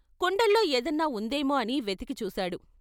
కుండల్లో ఏదన్నా ఉందేమో అని వెతికి చూశాడు.